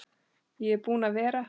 Ég er búinn að vera